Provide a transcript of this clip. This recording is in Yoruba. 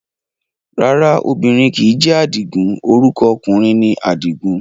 Rárá obìnrin kìí jẹ́ Àdìgún, orúkọ ọkùnrin ni Àdìgún